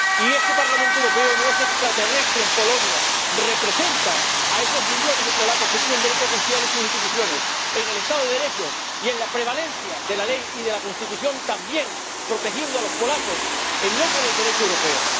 Y este Parlamento Europeo no es extraterrestre en Polonia representa a esos millones de polacos que tienen derecho a confiar en sus instituciones, en el Estado de Derecho y en la prevalencia de la ley y de la Constitución, también protegiendo a los polacos en nombre del Derecho europeo.